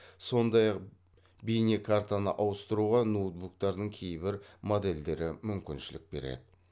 сондай ақ бейнекартаны ауыстыруға ноутбуктардың кейбір модельдері мүмкіншілік береді